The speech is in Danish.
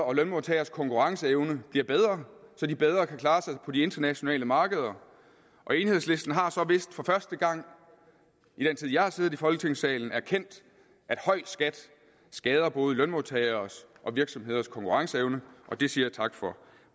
og lønmodtageres konkurrenceevne bliver bedre så de bedre kan klare sig på de internationale markeder og enhedslisten har så vist for første gang i den tid jeg har siddet i folketingssalen erkendt at høj skat skader både lønmodtageres og virksomheders konkurrenceevne og det siger jeg tak for